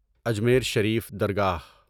Ajmer Sharif Dargah